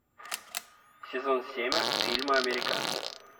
сезон семь фильма американцы